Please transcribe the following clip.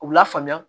U la faamuya